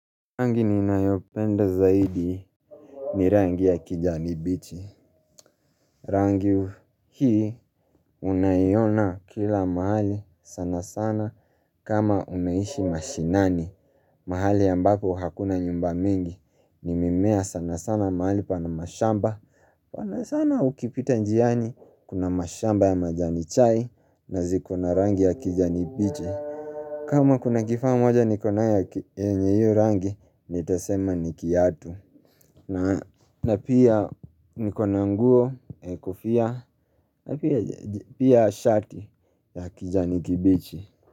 Rangi ni na yopenda zaidi ni rangi ya kijani bichi. Rangi hii unaiona kila mahali sana sana kama unaishi mashinani. Mahali ambako hakuna nyumba mingi ni mimea sana sana mahali pana mashamba. Sana sana ukipita njiani kuna mashamba ya majani chai na zikona rangi ya kijani bichi. Kama kuna kifaa mwajo niko nayo yenye hio rangi ni tasema ni kiatu na pia nikona nguo kulofia na pia shati ya kijani kibichi.